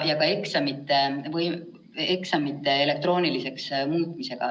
Ja ka eksamite elektrooniliseks muutmine.